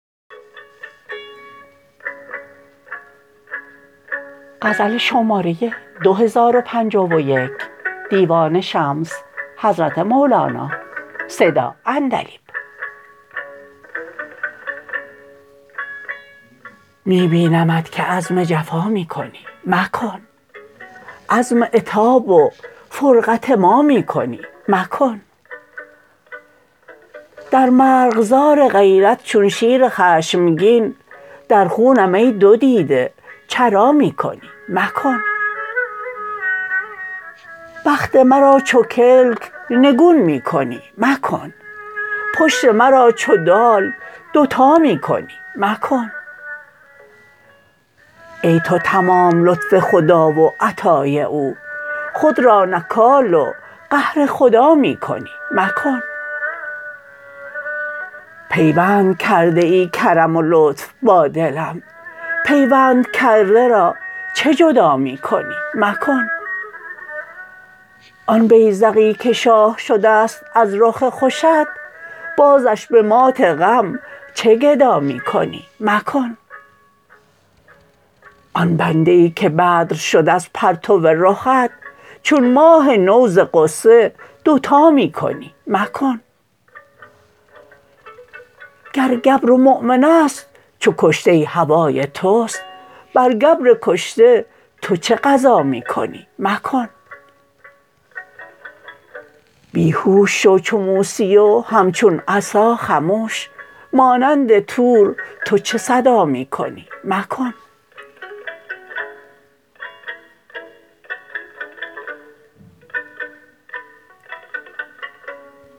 می بینمت که عزم جفا می کنی مکن عزم عتاب و فرقت ما می کنی مکن در مرغزار غیرت چون شیر خشمگین در خونم ای دو دیده چرا می کنی مکن بخت مرا چو کلک نگون می کنی مکن پشت مرا چو دال دوتا می کنی مکن ای تو تمام لطف خدا و عطای او خود را نکال و قهر خدا می کنی مکن پیوند کرده ای کرم و لطف با دلم پیوند کرده را چه جدا می کنی مکن آن بیذقی که شاه شده ست از رخ خوشت بازش به مات غم چه گدا می کنی مکن آن بنده ای که بدر شد از پرتو رخت چون ماه نو ز غصه دوتا می کنی مکن گر گبر و مؤمن است چو کشته هوای توست بر گبر کشته تو چه غزا می کنی مکن بی هوش شو چو موسی و همچون عصا خموش مانند طور تو چه صدا می کنی مکن